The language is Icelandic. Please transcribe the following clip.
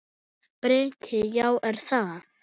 Breki: Já, er það?